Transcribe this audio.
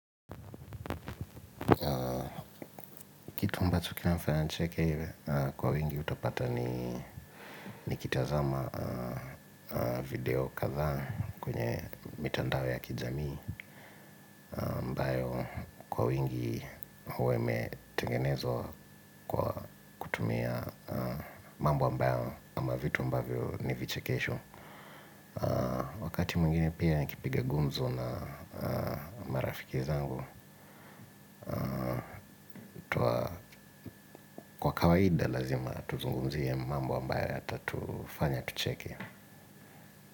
Kitu ambacho kinanifanya nicheke kwa wingi utapata nikitazama video katha kwenye mitandao ya kijamii ambayo kwa wingi huwa imetengenezwa kwa kutumia mambo ambayo ama vitu ambavyo ni vichekesho wakati mwingine pia nikipiga gumzo na marafiki zangu kwa kawaida lazima tuzungumzie mambo ambayo yatatufanya tucheke.